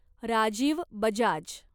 Rajiv Bajaj